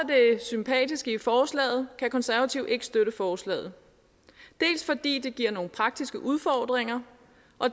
sympatiske i forslaget kan konservative ikke støtte forslaget dels fordi det giver nogle praktiske udfordringer